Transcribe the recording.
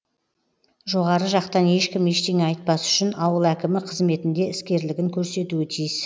жоғары жақтан ешкім ештеңе айтпас үшін ауыл әкімі қызметінде іскерлігін көрсетуі тиіс